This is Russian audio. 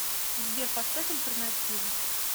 сбер поставь альтернативу